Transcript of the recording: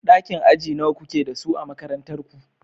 Ɗakin aji nawa kuke da su a makarantar ku.